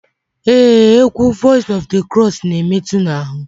Ee egwu Voice of the Cross n'emetu n'ahụ.